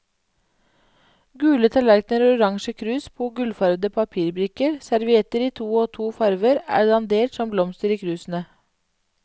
Gule tallerkener og orange krus på gullfarvede papirbrikker, servietter i to og to farver er dandert som blomster i krusene.